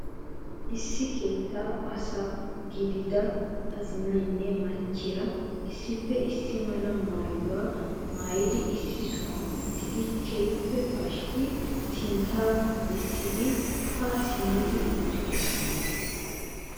Issi keettaa asa gidiyaa azinaynne maccassiyaa issippe issi mala maayyuwaa maayyidi issi sohuwaan uttidi keehippe pashkka sinttaa bessidi ha simmidi uttidoosona.